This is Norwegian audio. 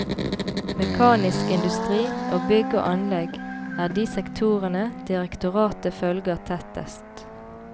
Mekanisk industri og bygg og anlegg er de sektorene direktoratet følger tettest.